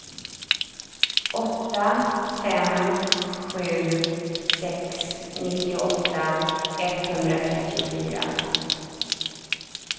åtta fem sju sex nittioåtta etthundratrettiofyra